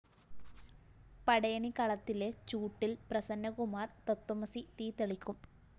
പടയണി കളത്തിലെ ചൂട്ടില്‍ പ്രസന്നകുമാര്‍ തത്ത്വമസി തീ തെളിക്കും